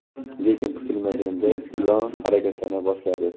lekin kutilmaganda ilon harakatlana boshladi.